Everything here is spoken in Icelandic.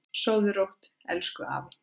Sofðu rótt, elsku afi.